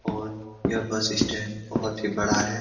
और यह bus stand बहुत ही बड़ा है ।